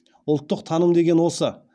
ұлттық таным деген осы